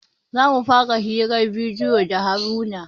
Za mu fara hirar bidiyo da haruna